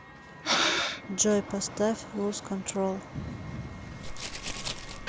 джой поставь луз контрол